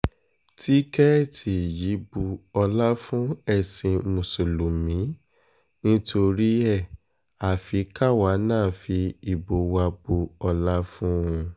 tìkẹ́ẹ̀tì yìí bu ọlá fún ẹ̀sìn mùsùlùmí ni torí ẹ̀ afi káwa náà fi ìbò wa bu ọlá fún un